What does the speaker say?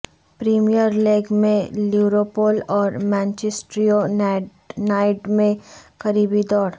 premier League میں Liverpool اور Manchester United میں قریبی دوڑ